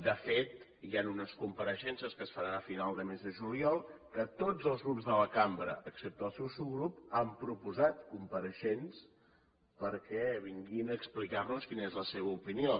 de fet hi han unes compareixences que seran a final del mes de juliol en què tots els grups de la cambra excepte el seu subgrup han proposat compareixents perquè vinguin a explicar nos quina és la seva opinió